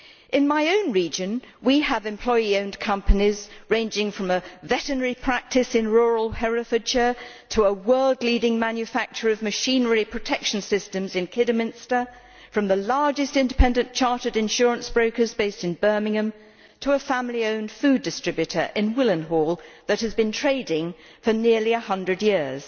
In my own region, we have employee owned companies ranging from a veterinary practice in rural Herefordshire to a world leading manufacturer of machinery protection systems in Kidderminster, from the largest independent chartered insurance brokers based in Birmingham, to a family owned food distributor in Willenhall that has been trading for nearly 100 years.